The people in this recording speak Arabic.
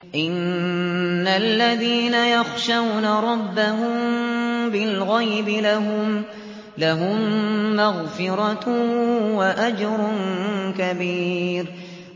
إِنَّ الَّذِينَ يَخْشَوْنَ رَبَّهُم بِالْغَيْبِ لَهُم مَّغْفِرَةٌ وَأَجْرٌ كَبِيرٌ